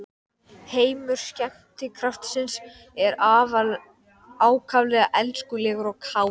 Heimur skemmtikraftsins er ákaflega elskulegur og kátur.